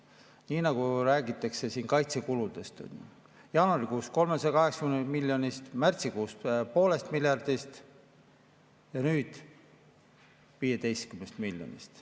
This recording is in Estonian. Nii nagu räägitakse siin kaitsekuludest: jaanuarikuus 380 miljonist, märtsikuus poolest miljardist ja nüüd 15 miljonist.